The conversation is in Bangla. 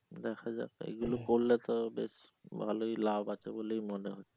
দেখা যাক এইগুলি করলে তো বেশ ভালোই লাভ আছে বলেই মনে হচ্ছে